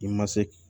I ma se